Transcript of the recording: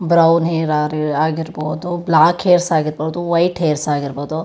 Brownie hair ಆಗಿರಬಹುದು black hairs ಆಗಿರಬಹುದು white hairs ಆಗಿರಬಹುದು.